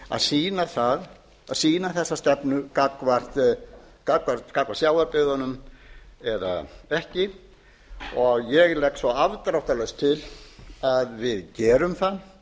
að sýna þessa stefnu gagnvart sjávarbyggðunum eða ekki og ég legg svo afdráttarlaust til að við gerum það